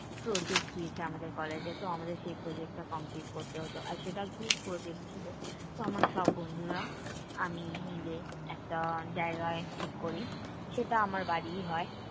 project দিয়েছে আমাদের college এ। তো আমাদের সেই project টা complete করতে হতো। আর সেটা group project ছিল। তো আমার সব বন্ধুরা আমি মিলে একটা জায়গায় ঠিক করি। সেটা আমার বাড়িই হয়।